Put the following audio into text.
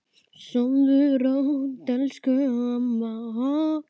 Sofðu rótt elsku amma okkar.